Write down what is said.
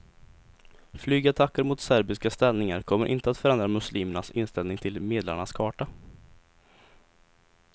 Flygattacker mot serbiska ställningar kommer inte att förändra muslimernas inställning till medlarnas karta.